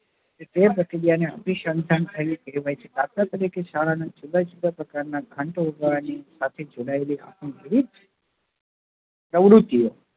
તે પ્રતિક્રિયા ને અભીશન્ધાન થઇ ને ક્કાહેવાય છે દાખલા તરીકે શાળા નાં જુદા જુદા પ્રકાર નાં ઘંટ વાગવા ની સાથે જોડાયેલી હાસ્ય પ્રેરિત પ્રવૃત્તિ ઓ